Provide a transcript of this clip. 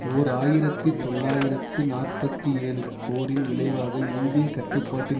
ஓர் ஆயிரத்தி தொள்ளாயிரத்து நாற்பத்தி ஏழு போரின் விளைவாக இந்திய கட்டுப்பாட்டில்